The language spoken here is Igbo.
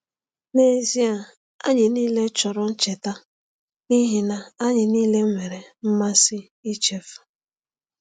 N’ezie, anyị niile chọrọ ncheta, n’ihi na anyị niile nwere mmasị ichefu.